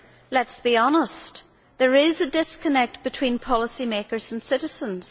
Let us be honest, there is a disconnect between policymakers and citizens.